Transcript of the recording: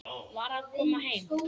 Var að koma heim.